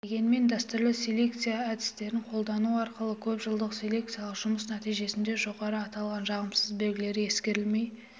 дегенмен дәстүрлі селекция әдістерін қолдану арқылы көп жылдық селекциялық жұмыс нәтижесінде жоғарыда аталған жағымсыз белгілер ескерілмей